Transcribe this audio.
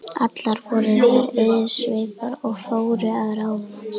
Allar voru þær auðsveipar og fóru að ráðum hans.